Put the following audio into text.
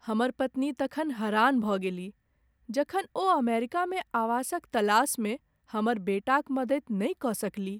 हमर पत्नी तखन हरान भऽ गेलीह जखन ओ अमेरिकामे आवासक तलासमे हमर बेटाक मदति नहि कऽ सकलीह।